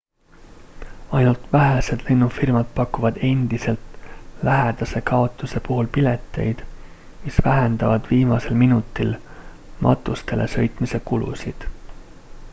ainult vähesed lennufirmad pakuvad endiselt lähedase kaotuse puhul pileteid mis vähendavad viimasel minutil matustele sõitmise kulusid